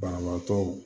Banabaatɔw